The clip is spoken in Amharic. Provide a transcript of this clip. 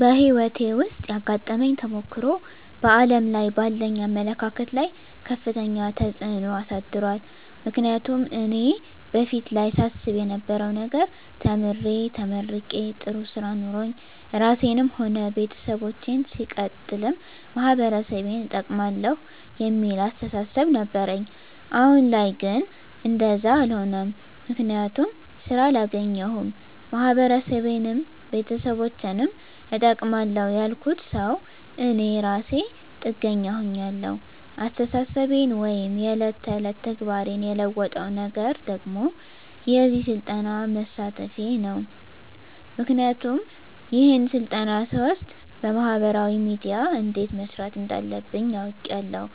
በህይወቴ ዉስጥ ያጋጠመኝ ተሞክሮ በዓለም ላይ ባለኝ አመለካከት ላይ ከፍተኛ ተጽዕኖ አሳድሯል ምክንያቱም እኔ በፊት ላይ ሳስብ የነበረዉ ነገር ተምሬ ተመርቄ ጥሩ ስራ ኖሮኝ ራሴንም ሆነ ቤተሰቦቸን ሲቀጥልም ማህበረሰቤን እጠቅማለዉ የሚል አስተሳሰብ ነበረኝ አሁን ላይ ግን እንደዛ አሎነም ምክንያቱም ስራ አላገኘዉም ማህበረሰቤንም ቤተሰቦቸንም እጠቅማለዉ ያልኩት ሰዉ እኔ እራሴ ጥገኛ ሁኛለዉ አስተሳሰቤን ወይም የዕለት ተዕለት ተግባሬን የለወጠዉ ነገር ደግሞ በዚህ ስልጠና መሳተፌ ነዉ ምክንያቱም ይሄን ስልጠና ስወስድ በማህበራዊ ሚድያ እንዴት መስራት እንዳለብኝ አዉቄያለዉ